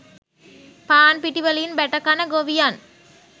පාන්පිටි වලින් බැටකන ගොවියන්